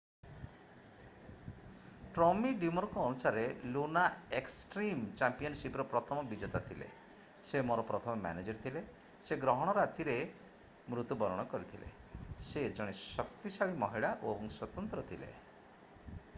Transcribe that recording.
Tommy ଡ୍ରିମରଙ୍କ ଅନୁସାରେ Luna extreme ଚାମ୍ପିୟନସିପର ପ୍ରଥମ ବିଜେତା ଥିଲେ ସେ ମୋର ପ୍ରଥମ ମ୍ୟାନଜର ଥିଲେ ସେ ଗ୍ରହଣ ରାତିରେ ମୃତ୍ୟୁ ବରଣ କରିଥିଲେ ସେ ଜଣେ ଶକ୍ତିଶାଳୀ ମହିଳା ଓ ସ୍ୱତନ୍ତ୍ର ଥିଲେ